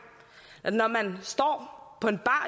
når man står på en bar